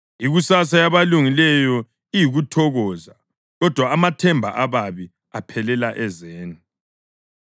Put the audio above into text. Ikusasa yabalungileyo iyikuthokoza, kodwa amathemba ababi aphelela ezeni.